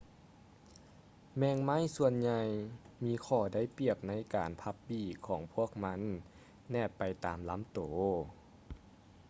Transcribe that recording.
ແມງໄມ້ສ່ວນໃຫຍ່ມີຂໍ້ໄດ້ປຽບໃນການພັບປີກຂອງພວກມັນແນບໄປຕາມລຳໂຕ